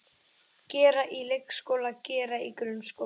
Gera í leikskóla Gera í grunnskóla